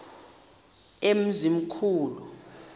emzimkhulu